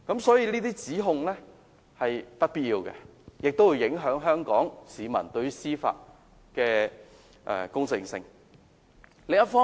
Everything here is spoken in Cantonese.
所以，這些指控是不必要的，而且會影響香港市民對於司法公正的觀感。